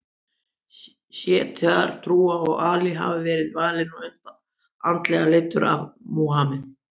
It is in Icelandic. Sjítar trúa að Ali hafi verið valinn og andlega leiddur af Múhameð.